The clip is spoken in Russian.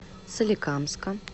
соликамска